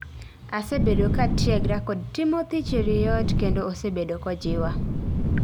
Asebedo katiegra kod Timothy Cheruiyot kendo osebedo kojiwa